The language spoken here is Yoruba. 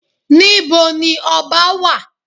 Níbo ni ọba wà?